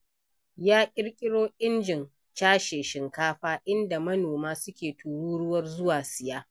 Ya ƙirƙiro injin cashe shinkafa, inda manoma suke turuwar zuwa siya.